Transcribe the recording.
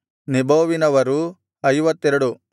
ನೆಬೋವಿನವರು 52